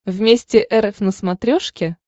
вместе эр эф на смотрешке